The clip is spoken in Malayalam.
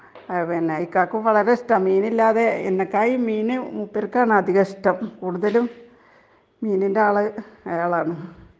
ഇക്കാക്കും വളരെ ഇഷ്ടം ആണ് .മീൻ ഇല്ലാതെ എന്നെ മീൻ മൂപ്പർക്ക് ആണ് അധികം ഇഷ്ടം .കൂടുതലും മീനിന്റെ ആൾ അയാളാണ് .